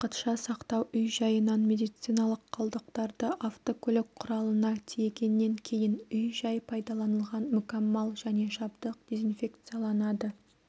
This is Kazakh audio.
уақытша сақтау үй-жайынан медициналық қалдықтарды автокөлік құралына тиегеннен кейін үй-жай пайдаланылған мүкәммал және жабдық дезинфекцияланады